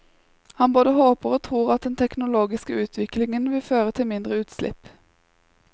Han bare håper og tror at den teknologiske utvikling vil føre til mindre utslipp.